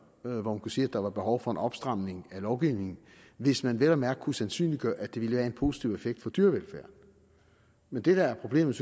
hvor man kunne sige der var behov for en opstramning af lovgivningen hvis man vel og mærke kunne sandsynliggøre at det ville have en positiv effekt på dyrevelfærden men det der er problemet